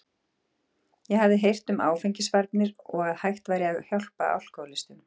Ég hafði heyrt um áfengisvarnir og að hægt væri að hjálpa alkóhólistum.